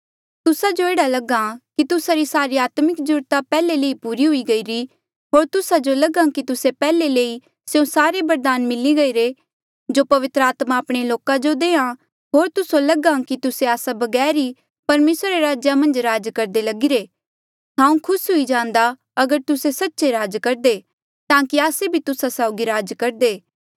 तुस्सा जो एह्ड़ा लगा कि तुस्सा री सारी आत्मिक जरूरता पैहले ले पूरी हुई गईरी होर तुस्सा जो लगा कि तुस्से पैहले ले ही स्यों सारे बरदान मिली गईरे जो पवित्र आत्मा आपणे लोका जो देआ होर तुस्से लगा कि तुस्से आस्सा बगैर ही परमेसरा रे राजेया मन्झ राज करदे लगिरे हांऊँ खुस हुई जांदा अगर तुस्से सच्चे राज करदे ताकि आस्से भी तुस्सा साउगी राज करदे